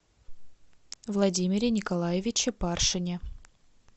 владимире николаевиче паршине